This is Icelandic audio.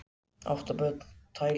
Átta ára börn tæld